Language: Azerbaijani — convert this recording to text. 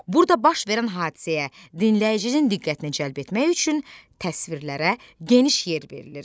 Burada baş verən hadisəyə dinləyicinin diqqətini cəlb etmək üçün təsvirlərə geniş yer verilir.